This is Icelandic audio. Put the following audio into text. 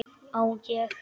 Á ég.?